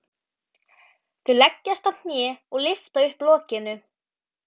Þau leggjast á hnén og lyfta upp lokinu.